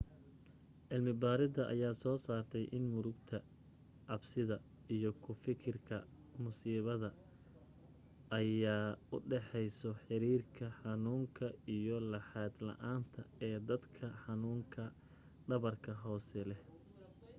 cilmi baaridda ayaa soo saaray in murugta cabsida iyo ku fakirka musiibada ayaa u dhexeeyey xiriirka xanuunka iyo laxaad la'aanta ee dadka xanuunka dhabarka hoose leh